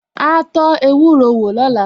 Áá tó ewúro wò lóla